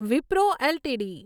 Wipro LTD